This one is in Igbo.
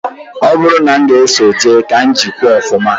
Ọ bụrụ na m ga-eso jee, ka m jikwaa ọfụma